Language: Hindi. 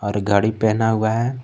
और घड़ी पहना हुआ है।